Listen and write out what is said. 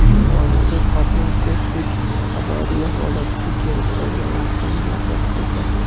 Aholi serqatnov ko‘prik avariya holatiga kelib qolgani haqida murojaat qildi.